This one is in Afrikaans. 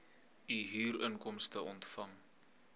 u huurinkomste ontvang